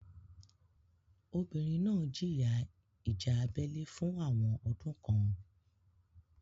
Obìnrin náà jìyà ìjà abẹ́lé fún àwọn ọdún kan.